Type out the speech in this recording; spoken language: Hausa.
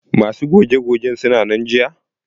Masu goge gogen suna nan jiya?